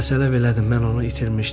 Məsələ belədir, mən onu itirmişdim.